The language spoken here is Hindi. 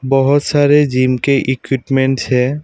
बहुत सारे जिम के इक्विपमेंटस है।